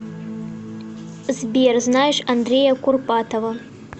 сбер знаешь андрея курпатова